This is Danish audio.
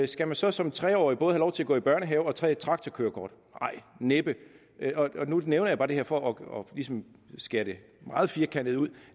skal man så som tre årig både have lov til at gå i børnehave og tage et traktorkørekort nej næppe nu nævner jeg bare det her for ligesom at skære det meget firkantet ud